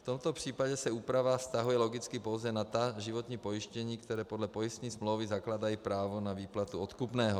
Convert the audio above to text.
V tomto případě se úprava vztahuje logicky pouze na ta životní pojištění, která podle pojistné smlouvy zakládají právo na výplatu odkupného.